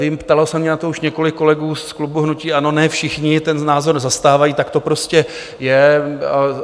Vím, ptalo se mě na to už několik kolegů z klubu hnutí ANO, ne všichni ten názor zastávají, tak to prostě je.